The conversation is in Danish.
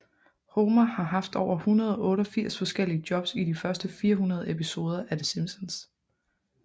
Homer har haft over 188 forskellige jobs i de første 400 episoder af The Simpsons